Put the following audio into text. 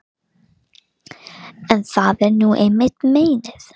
En það er nú einmitt meinið.